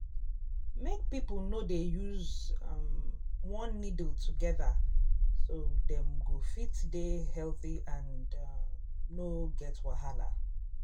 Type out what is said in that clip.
make people no dey use um one needle together so dem go fit dey um healthy and um no get wahala